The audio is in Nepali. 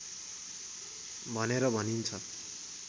भनेर भनिन्छ